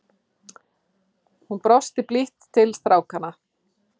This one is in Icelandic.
Hún brosti blítt til strákanna.